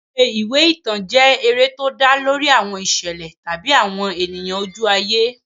Eré ìwé ìtàn jẹ́ eré tó dá lórí àwọn ìṣẹ̀lẹ̀ tàbí àwọn ènìyàn ojú ayé.